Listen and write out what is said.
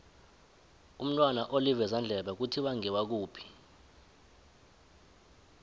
umntwana olivezandlebe kuthiwa ngewakuphi